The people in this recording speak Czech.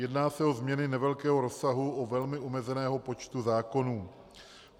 Jedná se o změny nevelkého rozsahu u velmi omezeného počtu zákonů.